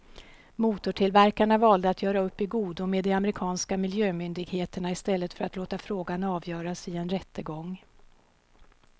Motortillverkarna valde att göra upp i godo med de amerikanska miljömyndigheterna i stället för att låta frågan avgöras i en rättegång.